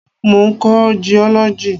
Mo ń kọ́ jiọ́lọ́jì.